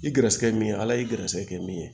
I gɛrɛsɛgɛ min ye ala y'i gɛrɛsɛgɛ kɛ min ye